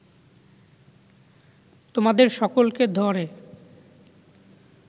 তোমাদের সকলকে ধ’রে